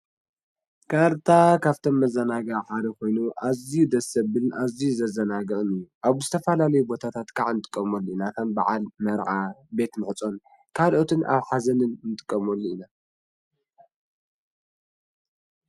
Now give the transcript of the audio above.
ካርታ ካብቶም መዛናጊዒ ሓደ ኣዝዩ ደስ ዘብል ኣዝዩ ዘዘናግዕ ኣብ ዝተፈላለዩ ቦታት ከዓ ንጥቀመሉ ኢና። ከም በዓል፣ መርዓ፣ ቤት መሑፆን ካልኦትን ኣብ ሓዘን እውን እንጥቀመሉ ኢና።